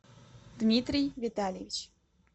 дмитрий витальевич